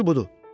Düzü budur.